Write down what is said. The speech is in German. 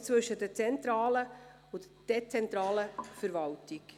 Dieses unterscheidet zwischen zentraler und dezentraler Verwaltung.